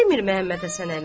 Han demir Məhəmməd Həsən əmi.